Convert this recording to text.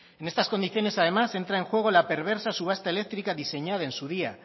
en estas condiciones además entra en juego la perversa subasta eléctrica diseñada en su día